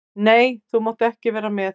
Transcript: Nei, þú mátt ekki vera með.